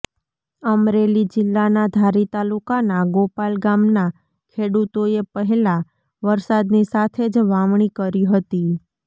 અમરેલી જિલ્લાના ધારી તાલુકાના ગોપાલ ગામના ખેડૂતોએ પહેલા વરસાદની સાથે જ વાવણી કરી હતી